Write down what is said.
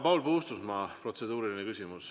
Paul Puustusmaa, protseduuriline küsimus.